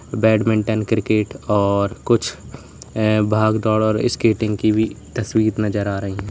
badminton cricket और कुछ भाग दौड़ और स्केटिंग की भी तस्वीर नजर आ रही--